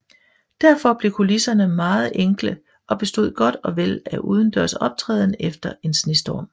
Derfor blev kulisserne meget enkle og bestod godt og vel af udendørs optræden efter en snestorm